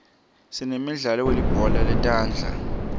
sinemidlalo welibhola letandla